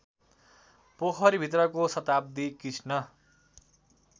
पोखरीभित्रको शताब्दी कृष्ण